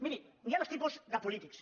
miri hi ha dos tipus de polítics